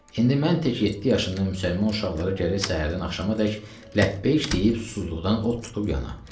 İndi mən tək 7 yaşındamı müsəlman uşaqları gərək səhərdən axşamadək ləbbeyk deyib susuzluqdan od tutub yana.